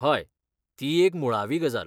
हय, ती एक मुळावी गजाल.